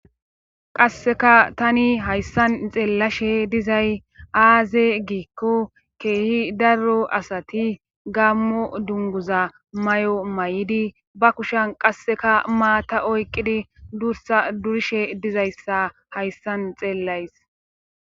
qasseka tani hayssan xeellashe dizay aaze giikko keehi darro asati gammo dunguza may7o may7idi ba kushan qasseka maata oyqidi dursa durishe dizayssa hayssan xeellays